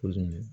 Ko